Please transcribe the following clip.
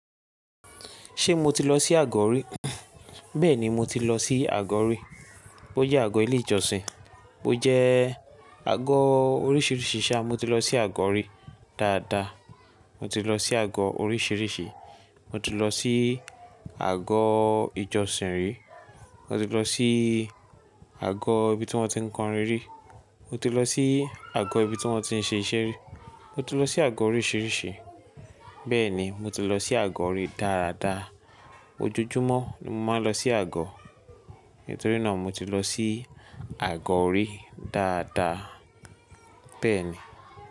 Ṣé mo ti lọ sí àgọ́ rí? Bẹ́ẹ̀ni mo ti lọ sí àgọ́ rí. Bó jẹ́ àgọ́ ilé ìjọsìn, bó jẹ́ àgọ́ oríṣìíríṣìí ṣá, mo ti lọ sí àgọ́ rí. Dáadáa, mo ti lọ sí àgọ́ oríṣìíríṣìí. Mo ti lọ sí àgọ́ ìjọsìn rí, mo ti lọ sí àgọ́ ibi tí wọ́n ti ń kọrin rí, mo ti lọ sí àgọ́ ibi tí wọ́n ti ń ṣe iṣẹ́ rí, mo ti lọ sí àgọ́ oríṣìíríṣìí. Bẹ́ẹ̀ni, mo ti lọ sí àgọ̀ rí dáadáa. Ojoojúmọ́ ni mo máa ń lọ sí àgọ́. Nítorí náà mo ti lọ sí àgọ́ rí dáadáa. Bẹ́ẹ̀ni.